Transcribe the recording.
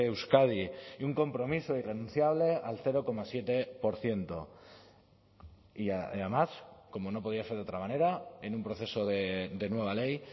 euskadi y un compromiso irrenunciable al cero coma siete por ciento y además como no podía ser de otra manera en un proceso de nueva ley